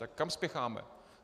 Tak kam spěcháme?